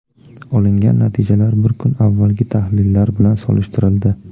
Olingan natijalar bir kun avvalgi tahlillar bilan solishtirildi.